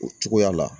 O cogoya la